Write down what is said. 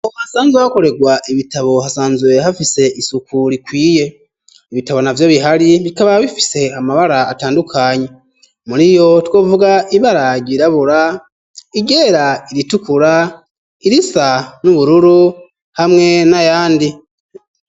Ahantu hasanzwe hakorerwa ibitabo hasanzwe hafise isuku rikwiye ibitabo navyo bihari bikaba bifise amabara atandukanye muriyo two vuga ibara ryirabura iryera iritukura irisa n'ubururu hamwe n'ayandi